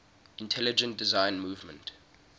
intelligent design movement